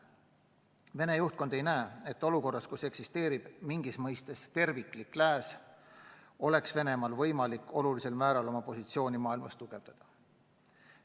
Vene juhtkond ei näe, et olukorras, kus eksisteerib mingis mõistes terviklik lääs, oleks Venemaal võimalik olulisel määral oma positsiooni maailmas tugevdada.